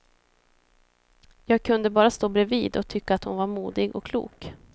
Jag kunde bara stå bredvid och tycka hon var modig och klok.